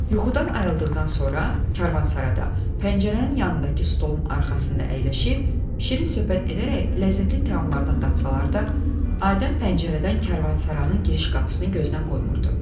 Yuxudan ayıldıqdan sonra karvansarada, pəncərənin yanındakı stolun arxasında əyləşib şirin söhbət edərək ləzzətli təamlardan datsalar da, Adəm pəncərədən karvansaranın giriş qapısını gözdən qoymurdu.